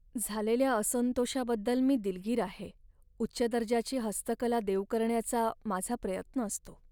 झालेल्या असंतोषाबद्दल मी दिलगीर आहे, उच्च दर्जाची हस्तकला देऊ करण्याचा माझा प्रयत्न असतो.